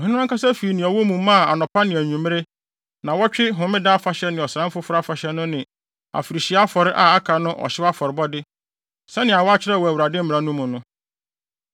Ɔhene no ankasa fii nea ɔwɔ mu maa anɔpa ne anwummere, nnaawɔtwe homeda afahyɛ ne Ɔsram Foforo Afahyɛ no ne afirihyia afɔre a aka no ɔhyew afɔrebɔde, sɛnea wɔakyerɛw wɔ Awurade Mmara no mu no.